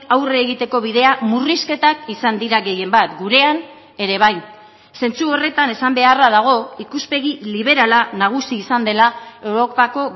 aurre egiteko bidea murrizketak izan dira gehienbat gurean ere bai zentzu horretan esan beharra dago ikuspegi liberala nagusi izan dela europako